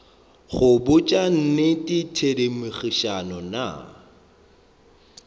go botša nnete thedimogane nna